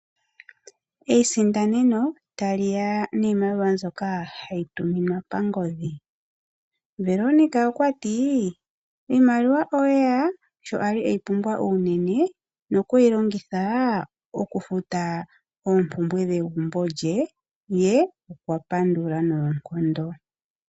Eisindaneno taliya niimaliwa mbyoka hayi tuminwa pangodhi. Veronica okwati" iimaliwa oyeya sho ali eyi pumbwa unene nokweyi longitha okufuta oompumbwe dhegumbo lye ,ye okwapandula noonkondo